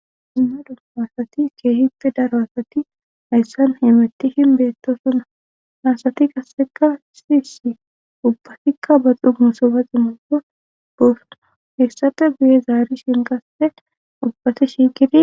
Dumma dumma asati keehipfi daro asati hayssan himettishin beettosona haasati qasseka si si ubbatikka baxu musobaxi mooko dosna heessata biye zaari shin qasse ubbati shigid